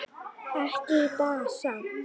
Ekki í dag samt.